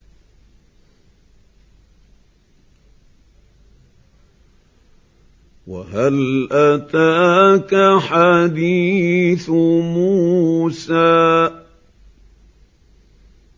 وَهَلْ أَتَاكَ حَدِيثُ مُوسَىٰ